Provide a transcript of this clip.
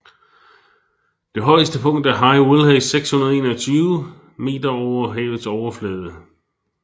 Det højeste punkt er High Willhays 621 meter over havets overflade